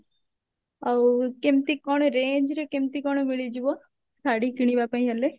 ଆଉ କେମତି କଣ range ରେ କେମତି କଣ ମିଳିଯିବ ଶାଢୀ କିଣିବା ପାଇଁ ହେଲେ?